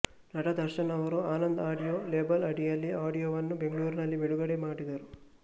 ನಟ ದರ್ಶನ್ ಅವರು Anand audio label ಅಡಿಯಲ್ಲಿ ಆಡಿಯೋವನ್ನು ಬೆಂಗಳೂರಿನಲ್ಲಿ ಬಿಡುಗಡೆ ಮಾಡಿದರು